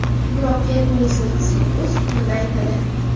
Biroq yakuniy so‘zni sud o‘z hukmida aytadi.